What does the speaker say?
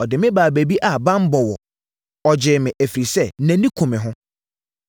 Ɔde me baa baabi a banbɔ wɔ; ɔgyee me, ɛfiri sɛ, nʼani ku me ho.